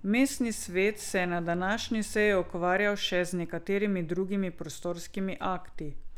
Mestni svet se je na današnji seji ukvarjal še z nekaterimi drugimi prostorskimi akti.